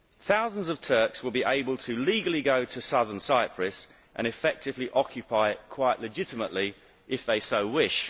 Thousands of Turks will be able to legally go to Southern Cyprus and effectively occupy it, quite legitimately, if they so wish.